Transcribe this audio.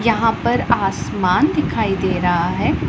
यहां पर आसमान दिखाई दे रहा है।